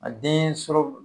A den sɔrɔ